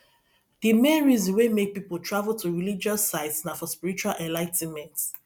di main reason wey make pipo travel to religious sites na for spiritual enligh ten ment